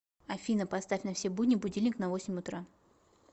афина поставь на все будни будильник на восемь утра